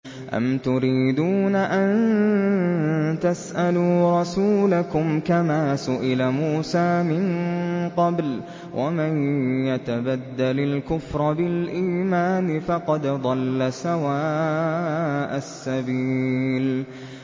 أَمْ تُرِيدُونَ أَن تَسْأَلُوا رَسُولَكُمْ كَمَا سُئِلَ مُوسَىٰ مِن قَبْلُ ۗ وَمَن يَتَبَدَّلِ الْكُفْرَ بِالْإِيمَانِ فَقَدْ ضَلَّ سَوَاءَ السَّبِيلِ